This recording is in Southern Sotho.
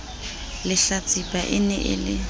lehlatsipa e ne e le